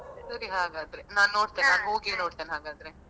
ಸರಿ ಹಾಗಾದ್ರೆ ನಾನ್ ನೋಡ್ತೇನೆ ನಾನ್ ಹೋಗಿಯೇ ನೋಡ್ತೇನೆ ಹಾಗದ್ರೆ.